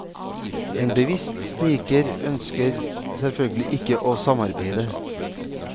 En bevisst sniker ønsker selvfølgelig ikke å samarbeide.